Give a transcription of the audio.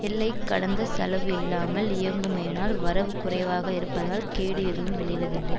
எல்லை கடந்த செலவு இல்லாமல் இருக்குமேயானால் வரவு குறைவாக இருப்பதால் கேடு எதுவும் விளைவதில்லை